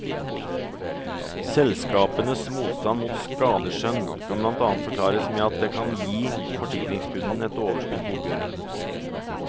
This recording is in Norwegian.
Selskapenes motstand mot skadeskjønn kan blant annet forklares med at det kan gi forsikringskundene et overskudd på oppgjøret.